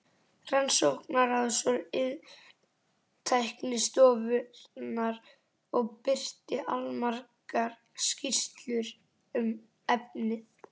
Rannsóknaráðs og Iðntæknistofnunar og birti allmargar skýrslur um efnið.